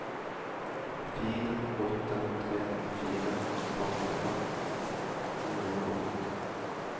fire åtte tre fire femtifem ni hundre og åtti